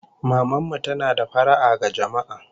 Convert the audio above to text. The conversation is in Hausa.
Maman mu tana da fara'a ga jama'a